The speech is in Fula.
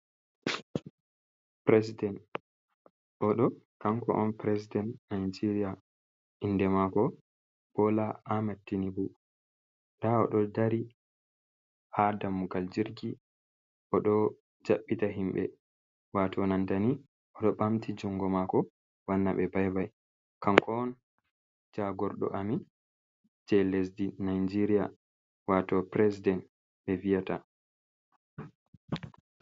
President, oɗo kanko on presdent Nijeriya inde Bola Ahmed Tinubu. Nda oɗo dari ha dammugal jirgi oɗo jaɓɓita himɓe, ɓamta juɗe, wanna himɓe bye bye. Kanko on jagorɗo lesdi Nijeriya. Watau presdent be vi'ata.